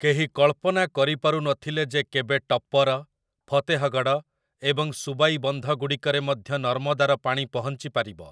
କେହି କଳ୍ପନା କରିପାରୁ ନ ଥିଲେ ଯେ କେବେ ଟପ୍ପର, ଫତେହଗଡ଼ ଏବଂ ସୁବାଇ ବନ୍ଧଗୁଡ଼ିକରେ ମଧ୍ୟ ନର୍ମଦାର ପାଣି ପହଞ୍ଚି ପାରିବ ।